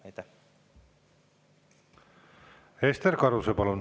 Ester Karuse, palun!